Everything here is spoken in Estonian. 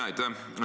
Aitäh!